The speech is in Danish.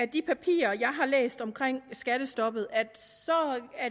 de papirer jeg har læst om skattestoppet at